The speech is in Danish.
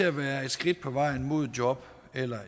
at være et skridt på vejen mod et job eller